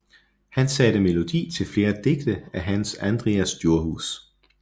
Han satte melodi til flere digte af Hans Andrias Djurhuus